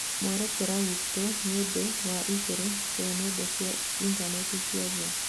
Mwerekera witũ nĩũndũ na igũrũ rĩa nenda cia intaneti cia nja